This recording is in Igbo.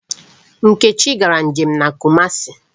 Nkechi gara nje m na Kumasi.